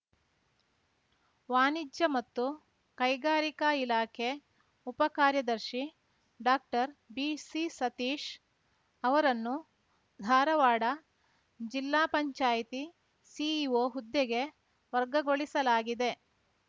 ವಾಣಿಜ್ಯ ಮತ್ತು ಕೈಗಾರಿಕಾ ಇಲಾಖೆ ಉಪ ಕಾರ್ಯದರ್ಶಿ ಡಾಕ್ಟರ್ಬಿಸಿಸತೀಶ್ ಅವರನ್ನು ಧಾರವಾಡ ಜಿಲ್ಲಾ ಪಂಚಾಯ್ತಿ ಸಿಇಒ ಹುದ್ದೆಗೆ ವರ್ಗಗೊಳಿಸಲಾಗಿದೆ